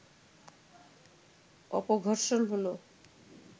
অপঘর্ষণ হল